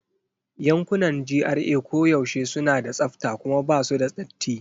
Yankunan GRA koyaushe suna da tsafta kuma ba su da datti.